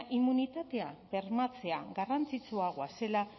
immunitatea bermatzea garrantzitsuagoa zela